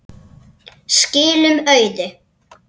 Skilum auðu.